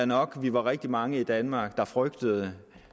nok at vi var rigtig mange i danmark der frygtede